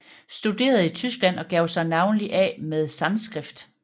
Studerede i Tyskland og gav sig navnlig af med Sanskrit